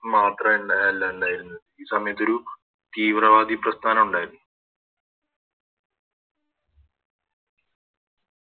മാത്ര ല്ല ഇണ്ടായിരുന്നത് ഈ സമയത്തൊരു തീവ്രവാദി പ്രസ്‌താനുണ്ടാരുന്നു